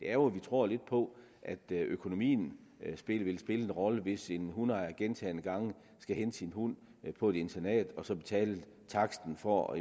er jo at vi tror lidt på at økonomien vil spille en rolle hvis en hundeejer gentagne gange skal hente sin hund på et internat og så betale taksten for